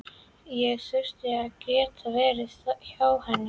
Ég þurfti að geta verið hjá henni.